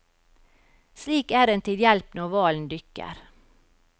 Slik er den til hjelp når hvalen dykker.